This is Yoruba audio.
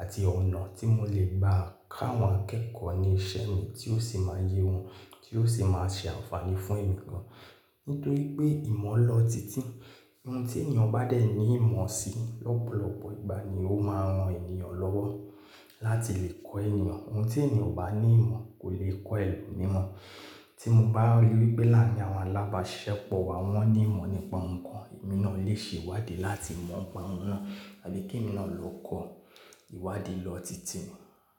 àti ọ̀nà tí mo lè gbà káwọn akẹ́kọ̀ọ́ ní iṣẹ́ mi tí ó sì máa yé wọn, tí ó sì máa ṣe ànfààní fún ẹ̀mí gan. Nítorí pé ìmọ̀ lọ tìtì, ohun tí ènìyàn bá dẹ̀ ní ìmọ̀ sí lọ́pọ̀lọpọ̀ ìgbà ni ó máa ran ènìyàn lọ́wọ́ láti lè kọ́ ènìyàn. Ohun tí ènìyàn bá ní ìmọ̀ kò lè kọ́ ẹ̀lomiran. Tí mo bá ri wí pé láàrin àwọn alábàáṣiṣẹ́pọ̀ wa wọ́n ní ìmọ̀ nípa nǹkan, èmi náà lè ṣe ìwádìí láti mọ̀ ń pa wọ́n naa àbí kí èmi náà lọ kọ ìwádìí lọ tìtì.